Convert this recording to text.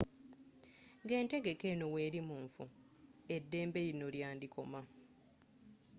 nga entegeka eno weri munfo eddembe lino lyandi koma